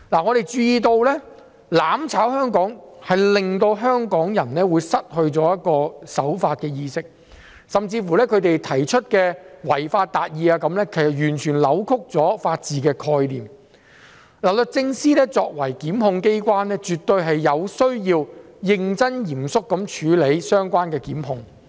我們注意到"攬炒"香港會令香港人失去守法的意識，甚至他們提出的違法達義也是完全扭曲了法治的概念，律政司作為檢控機關，絕對有需要認真和嚴肅地處理相關的檢控。